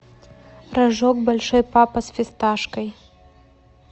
рожок большой папа с фисташкой